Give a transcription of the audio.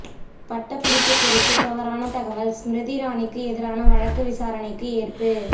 பட்டப்படிப்பு குறித்து தவறான தகவல் ஸ்மிருதி இரானிக்கு எதிரான வழக்கு விசாரணைக்கு ஏற்பு